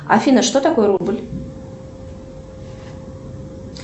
афина что такое рубль